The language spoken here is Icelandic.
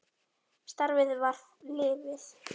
Starfið var lífið.